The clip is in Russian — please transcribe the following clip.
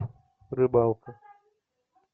рыбалка